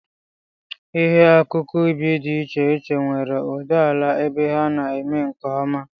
Ihe akụkụ ubi dị iche iche nwere ụdị ala ebe ha na-eme nke ọma